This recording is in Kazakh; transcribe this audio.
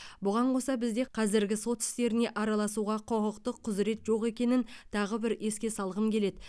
бұған қоса бізде қазіргі сот істеріне араласауға құқықтық құзірет жоқ екенін тағы бір еске салғым келеді